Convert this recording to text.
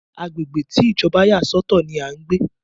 Agbègbè tí Ìjọba yà sọ̀tọ̀ ní a ń pé.